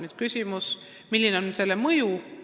Nüüd küsimus, milline on selle mõju.